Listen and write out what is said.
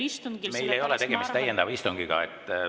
Hea kolleeg, meil ei ole tegemist täiendava istungiga.